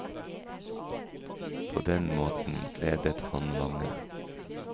På den måten gledet han mange.